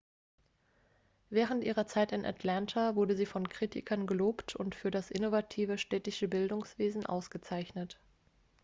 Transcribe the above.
während ihrer zeit in atlanta wurde sie von kritikern gelobt und für das innovative städtische bildungswesen ausgezeichnet.x